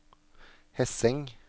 Hesseng